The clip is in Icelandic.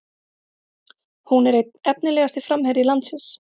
Hún er einn efnilegasti framherji landsins